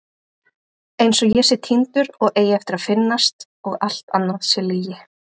Einsog ég sé týndur og eigi eftir að finnast og allt annað sé lygi.